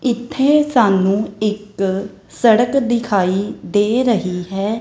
ਇੱਥੇ ਸਾਨੂੰ ਇੱਕ ਸੜਕ ਦਿਖਾਈ ਦੇ ਰਹੀ ਹੈ।